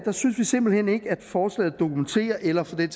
synes vi simpelt hen ikke at forslaget dokumenterer eller for den